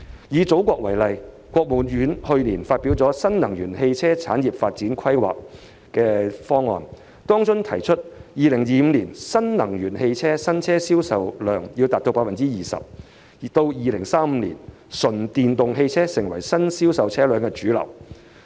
以祖國為例，國務院去年發表《新能源汽車產業發展規劃》，當中提出2025年新能源汽車新車銷售量要達到 20%，2035 年純電動汽車要成為新銷售車輛的主流。